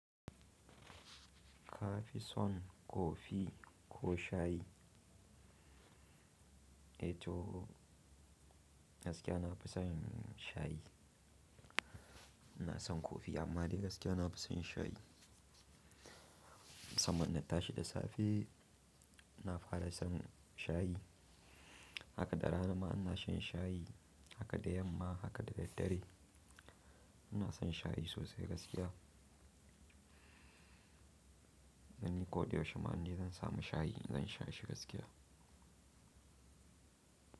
Ka fi son kofi ko shayi? E toh gaskiya na fi son shayi. Na san kofi amma dai gaskiya na fi son shayi. Musamman na tashi da safe, na fara son shayi. Haka da rana ma ina shan shayi, haka da yamma, haka da daddare. Ina son shayi sosai gaskiya. Don ni ko da yaushe ma ni zan samu shayi, zan sha shi gaskiya.